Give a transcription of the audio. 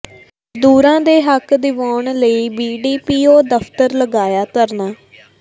ਮਜ਼ਦੂਰਾਂ ਦੇ ਹੱਕ ਦਿਵਾਉਣ ਲਈ ਬੀਡੀਪੀਓ ਦਫ਼ਤਰ ਲਗਾਇਆ ਧਰਨਾ